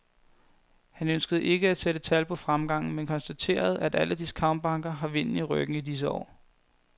Han ønskede ikke at sætte tal på fremgangen, men konstaterede, at alle discountbanker har vinden i ryggen i disse år.